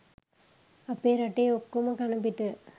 අපෙ රටේ ඔක්කොම කණපිට.